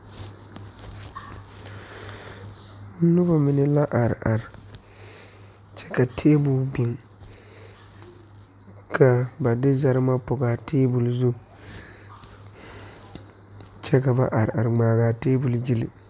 Noba mine la are are, ka tabol biŋ ka ba de zarema pɔge a tabol zu kyɛ ka ba are a ŋmaa a tabol gyile .